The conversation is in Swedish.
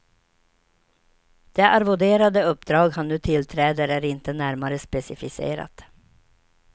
Det arvoderade uppdrag han nu tillträder är inte närmare specificerat.